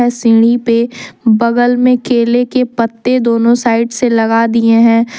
सीढ़ी पे बगल में केले के पत्ते दोनों साइड से लगा दिए हैं।